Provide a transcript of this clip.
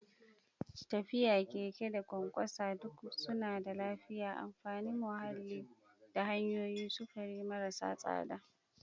Tafiya, keke, da ƙwanƙwasa duk suna da lafiya, amfanin muhalli, da hanyoyin sufuri marasa tsada.